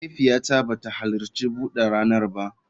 Mahaifiyata ba ta halarci bude ranar ba